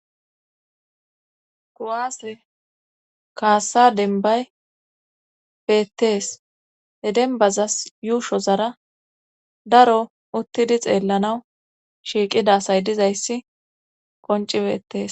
Kowaase kaassa denbay beettees e denbazas yuusho zara daro uttidi xeellanaw shiiqidasay dizayssi qonci beettees.